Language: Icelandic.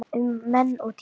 Um menn og dýr